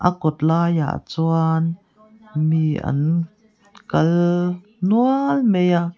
kawt laiah chuan mi an kal nual mai a.